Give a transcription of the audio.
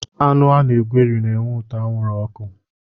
Anụ ana-egweri na-enwe ụtọ anwụrụ oku.